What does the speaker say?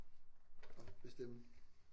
At bestemme